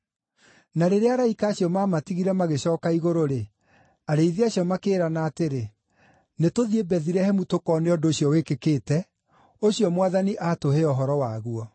Na rĩrĩa araika acio maamatigire magĩcooka igũrũ-rĩ, arĩithi acio makĩĩrana atĩrĩ, “Nĩtũthiĩ Bethilehemu tũkoone ũndũ ũcio wĩkĩkĩte, ũcio Mwathani aatũhe ũhoro waguo.”